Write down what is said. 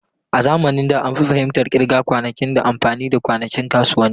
A zamanin da, an fi fahimtar kirga kwanakin ta amfani da kwanakin kasuwanni.